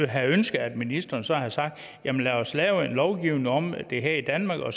have ønsket at ministeren så havde sagt jamen lad os lave en lovgivning om det her i danmark og